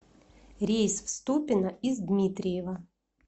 рейс в ступино из дмитриева